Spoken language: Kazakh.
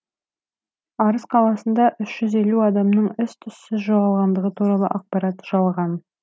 арыс қаласында үш жүз елу адамның із түссіз жоғалғандығы туралы ақпарат жалған